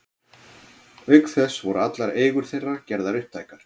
Auk þess voru allar eigur þeirra gerðar upptækar.